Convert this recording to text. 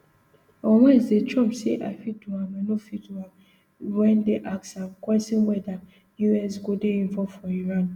on wednesday trump say i fit do am i fit no do am wen dem ask am kwesion weda us go dey involve for iran